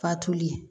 Fatuli